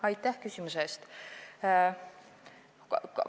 Aitäh küsimuse eest!